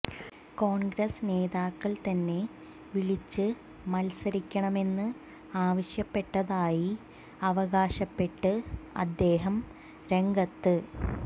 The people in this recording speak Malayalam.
കോൺഗ്രസ് നേതാക്കൾ തന്നെ വിളിച്ച് മത്സരിക്കണമെന്ന് ആവശ്യപ്പെട്ടതായി അവകാശപ്പെട്ട് അദ്ദേഹം രംഗത്